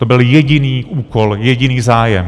To byl jediný úkol, jediný zájem.